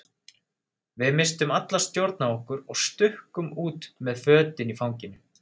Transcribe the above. Við misstum alla stjórn á okkur og stukkum út með fötin í fanginu.